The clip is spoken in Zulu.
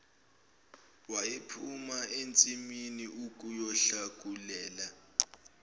wayephuma ensimini ukuyohlakulela